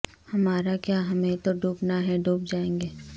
ہمارا کیا ہمیں تو ڈوبنا ہے ڈوب جائیں گے